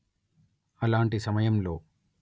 అలాంటి సమయంలో